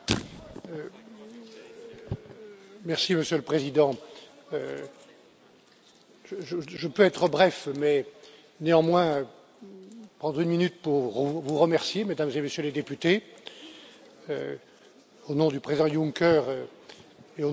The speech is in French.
Monsieur le Président, je peux être bref, mais néanmoins prendre une minute pour vous remercier, Mesdames et Messieurs les députés, au nom du président Juncker et au nom de toute l'équipe de négociation que j'ai l'honneur